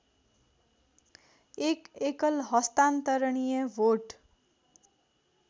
१ एकल हस्तान्तरणीय भोट